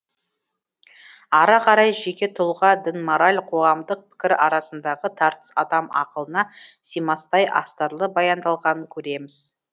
ары қарай жеке тұлға дін мораль қоғамдық пікір арасындағы тартыс адам ақылына симастай астарлы баяндалғанын көреміз